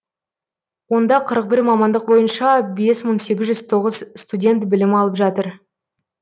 онда қырық бір мамандық бойынша бес мың сегіз жүз тоғыз студент білім алып жатыр